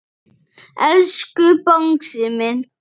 Elsku Bangsi minn.